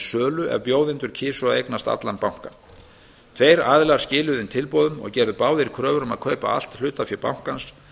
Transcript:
sölu ef bjóðendur kysu að eignast allan bankann tveir aðilar skiluðu inn tilboðum og gerðu báðir kröfur um að kaupa allt hlutafé bankans